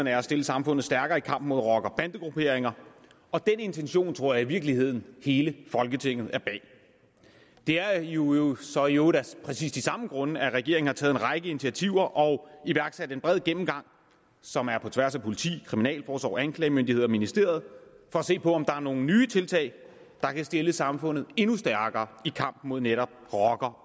er at stille samfundet stærkere i kampen mod rocker bande grupperinger og den intention tror jeg i virkeligheden hele folketinget er bag det er jo jo så i øvrigt af præcis de samme grunde at regeringen har taget en række initiativer og iværksat en bred gennemgang som er på tværs af politi kriminalforsorg anklagemyndighed og ministerie for at se på om der er nogle nye tiltag der kan stille samfundet endnu stærkere i kampen mod netop rocker